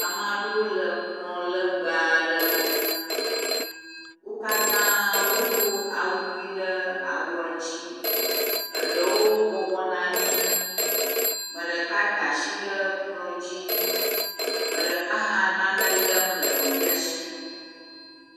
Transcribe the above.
Ame aɖewo le kplɔ legbe aɖe ŋu. Wo katã wodo awu ʋi ɖe awua dzi. Eɖewo bɔbɔ nɔ anyi ame ɖeka da si ɖe ekplɔ dzi ame ɖeka hã enane lem le nɔvia si.